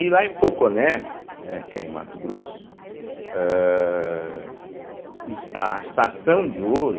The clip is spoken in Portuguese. E lá em Poconé, né, que é em Mato Grosso, âh a a extração de ouro...